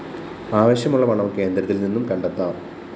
ആവശ്യമുള്ള പണം കേന്ദ്രത്തില്‍ നിന്നും കണ്ടെത്താം